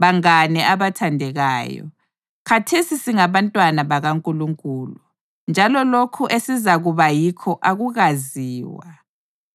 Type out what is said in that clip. Bangane abathandekayo, khathesi singabantwana bakaNkulunkulu, njalo lokho esizakuba yikho akukaziwa.